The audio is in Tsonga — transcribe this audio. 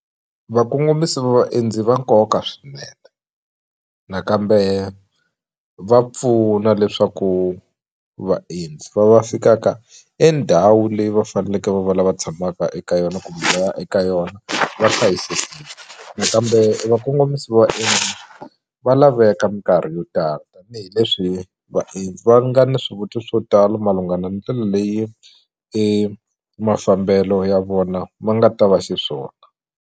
Vakongomisi va vaendzi i va nkoka swinene nakambe va pfuna leswaku vaendzi va va fikaka e ndhawu leyi va faneleke va va lava tshamaka eka yona kumbe va ya eka yona va hlayisekile nakambe vakongomisi va vaendzi va laveka minkarhi yo tala tanihileswi vaendzi va nga na swivutiso swo tala ndlela leyi e mafambelo ya vona ma nga ta va xiswona.